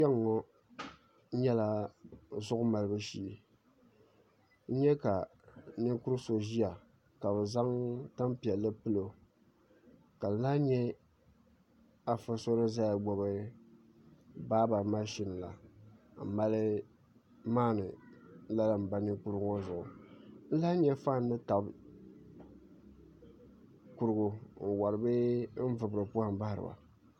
Kpɛŋŋo nyɛla zuɣu malibu shee n nyɛ ka ninkuri so ʒiya ka bi zaŋ tanpiɛlli pilo ka n lahi nyɛ afa so ni ʒiya gbubi baaba mashin la n mali maandi lala n ba ninkurigu ŋo zuɣu n lahi nyɛ faan ni tabi kurigu n wori bee n vubiri poham bahariba